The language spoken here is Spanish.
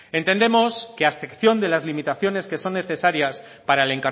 entendemos que a excepción de las limitaciones que son necesarias para el